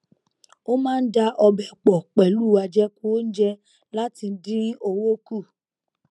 ó máa ń da ọbẹ pọ pẹlú àjẹkù oúnjẹ láti dín owó kù